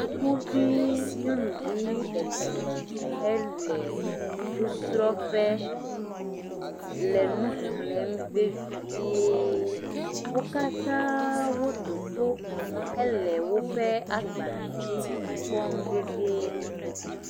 Sukuvi nyɔnuvi etɔ le nusrɔƒe le nuxlem vevie wo katã woɖoto le woƒe agbalẽ dzi kpɔm vevie